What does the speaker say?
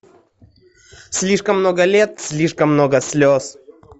слишком много лет слишком много слез